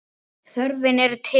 Þörfin er til staðar.